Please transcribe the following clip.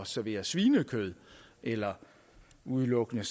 servere svinekød eller udelukkende